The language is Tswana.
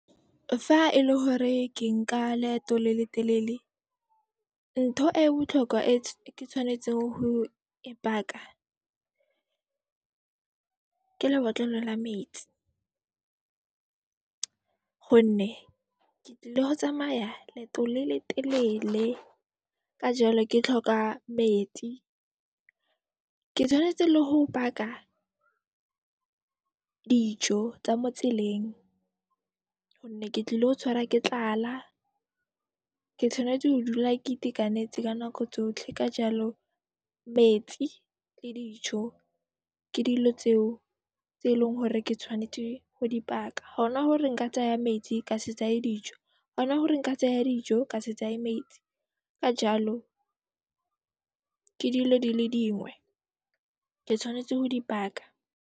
Fa e le hore ke nka leeto le le telele, ntho e e botlhokwa e ke tshwanetseng ho e paka, ke lebotlolo la metsi gonne ke tlile ho tsamaya leeto le le telele, ka jaalo ke tlhoka metsi. Ke tshwanetse le ho paka dijo tsa mo tseleng gonne ke tlilo tshwara ke tlala ke tshwanetse ho dula ke itekanetse ka nako tsotlhe. Ka jaalo metsi le dijo ke dilo tseo tse e leng hore ke tshwanetse ho di paka. Ha ona hore nka tsaya metsi ka se dijo, ha ona hore nka tsaya dijo, ka se metsi. Ka jaalo ke dilo di le dingwe ke tshwanetse ho di paka.